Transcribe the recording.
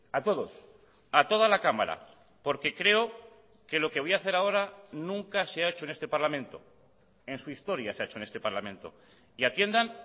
a todos a toda la cámara porque creo que lo que voy a hacer ahora nunca se ha hecho en este parlamento en su historia se ha hecho en este parlamento y atiendan